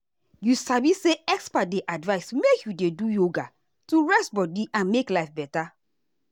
you sabi say experts dey advice make you dey do yoga to rest body and make life better.